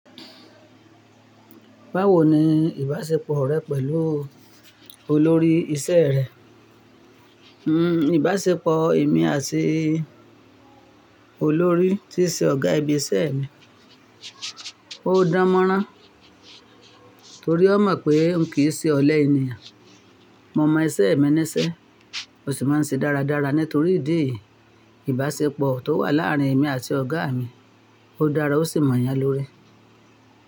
Báwo ni ìbáṣepọ̀ rẹ pẹ̀lú olórí iṣẹ́ rẹ? Hmm ìbáṣepọ̀ èmi àti olórí tí ṣe ọ̀gá ibi iṣẹ́ mi, ó dáńmọ́rán torí ó mọ̀ pé n kìí ṣe ọ̀lẹ ènìyàn. Mo mọ iṣẹ́ mi níṣẹ́, ó sì máa ń ṣe dáradára nítorí ìdí èyí. Ìbáṣepọ̀ tó wà láàárín èmi àti ọ̀gá mi, ó dára ó sì mọ̀ yán lórí.